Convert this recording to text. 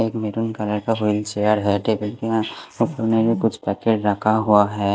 एक maroon colour का wheelchair है कुछ पैकेट रखा हुआ है।